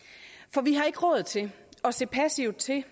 for vi har ikke råd til at se passivt til